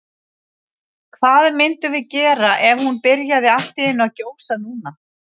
Hvað myndum við gera ef hún byrjaði allt í einu að gjósa núna?